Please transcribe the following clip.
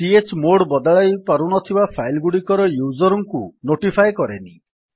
f160 chmod ବଦଳାଇ ପାରୁନଥିବା file ଗୁଡିକର ୟୁଜର୍ ଙ୍କୁ ନୋଟିଫାଏ କରେନି